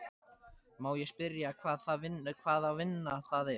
Má ég spyrja hvaða vinna það er?